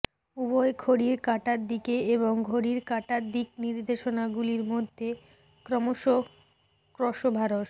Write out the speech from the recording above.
উভয় ঘড়ির কাঁটার দিকে এবং ঘড়ির কাঁটার দিক নির্দেশনাগুলির মধ্যে ক্রমশ ক্রসোভারস